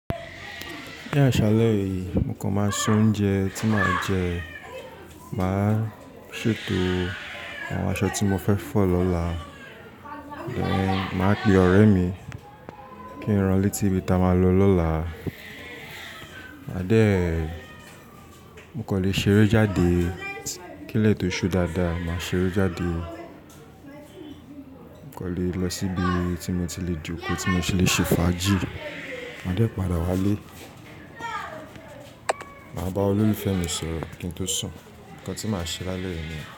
Ní àṣálẹ́ yìí, mo kàn máa soúnjẹ tí màá jẹ. Màá ṣètò àwọn aṣọ tí mo fẹ́ fọ̀ lọ́la. Màá pe ọ̀rẹ́ mi kí n ran létí ibi tí a máa lọ lọ́la. Máa dẹ, mo kan lè ṣeré jáde. Kílẹ̀ tó ṣú dáadáa, màá ṣeré jáde. Mo kan lè lọ síbi tí mo ti lè jókòó, tí mo ti lè ṣe fàájì. Máa dẹ padà wá lé, màá bá olólùfẹ́ mi sọ̀rọ̀ kí n tó sùn. Ǹkan tí màá ṣe lálẹ́ yìí ni.